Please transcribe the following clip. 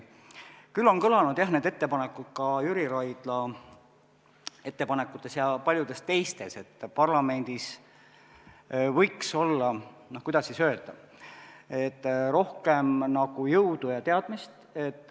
Küll on kõlanud, jah, Jüri Raidla ja paljude teiste ettepanekutes, et parlamendis võiks olla, kuidas öelda, rohkem jõudu ja teadmist.